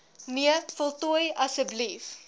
nee voltooi asb